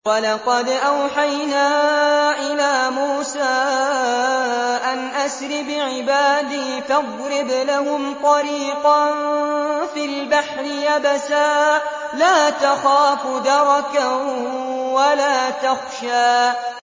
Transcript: وَلَقَدْ أَوْحَيْنَا إِلَىٰ مُوسَىٰ أَنْ أَسْرِ بِعِبَادِي فَاضْرِبْ لَهُمْ طَرِيقًا فِي الْبَحْرِ يَبَسًا لَّا تَخَافُ دَرَكًا وَلَا تَخْشَىٰ